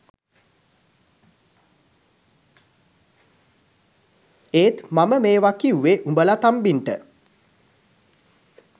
ඒත් මම මේව කිව්වෙ උබල තම්බින්ට